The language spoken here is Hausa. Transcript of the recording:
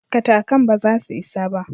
Katakan ba za su isa ba.